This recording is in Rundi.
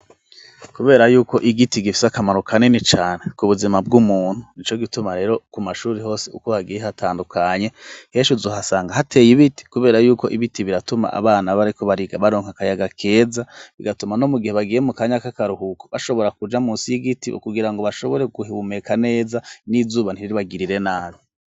Kubera yuko igiti gifise akamaro kanini cane ku buzima bw'umuntu, nico gituma rero ku mashuri hose uko hagiye hatandukanye henshi uzohasanga hateye ibiti kubera y'uko ibiti biratuma abana bariko bariga baronka akayaga keza bigatuma no mu gihe bagiye mu kanyaka k'akaruhuko bashobora kuja munsi y'igiti kugira ngo bashobore guhumeka neza n'izuba ntiribagirire nabi.